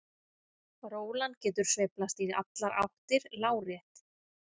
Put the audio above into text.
Rólan getur sveiflast í allar áttir lárétt.